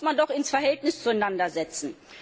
Das muss man doch ins Verhältnis zueinander setzen.